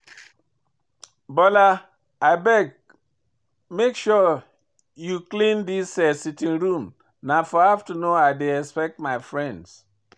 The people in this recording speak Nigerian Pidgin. Bola abeg make sure you clean dis sitting room na for afternoon I dey expect my friends